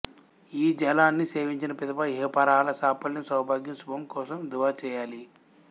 ఈ జలాన్ని సేవించిన పిదప ఇహపరాల సాఫల్యం సౌభాగ్యం శుభం కోసం దుఆ చేయాలి